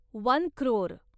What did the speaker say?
one crore